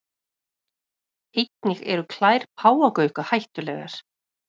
Einnig eru klær páfagauka hættulegar.